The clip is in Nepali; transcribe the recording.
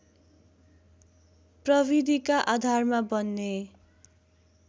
प्रविधिका आधारमा बन्ने